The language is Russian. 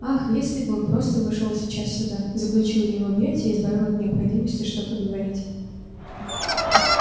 ах если бы он просто вошёл сейчас сюда заключил её в объятия и избавил от необходимости что-то говорить